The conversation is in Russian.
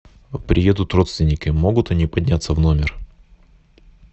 приедут родственники могут они подняться в номер